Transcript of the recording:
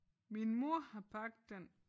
Min mor har bagt den